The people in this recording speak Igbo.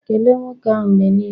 Kelee nwoke ahụ mgbe niile!